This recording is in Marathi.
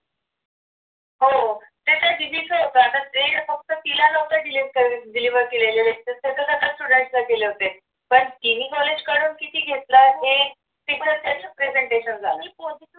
हो ते त्या दीदीचा होतं आता मेल फक्त तिला नव्हता deletedeliver केलेले तर येत असते सगळ्या student ला गेले होते पण तिने college करून किती घेतल आहे तिचं त्याच pesentation झालं